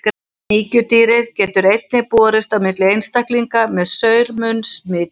Sníkjudýrið getur einnig borist á milli einstaklinga með saur-munn smiti.